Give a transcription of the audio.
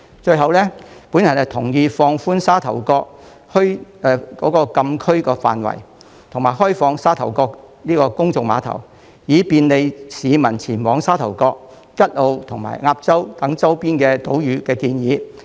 最後，我同意有關放寬沙頭角墟禁區範圍，以及開放沙頭角公眾碼頭，以便利市民前往沙頭角、吉澳及鴨洲等周邊島嶼的建議。